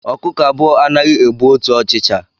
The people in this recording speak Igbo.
Ọkụkọ abụọ anaghị ebu otu ọchịcha